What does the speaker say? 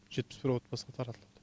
жетпіс бір отбасына таратылды